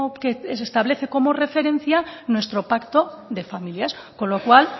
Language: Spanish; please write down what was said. que se establece como referencia nuestro pacto de familias con lo cual